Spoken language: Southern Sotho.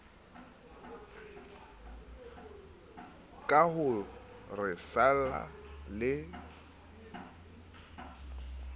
ka ho re salla le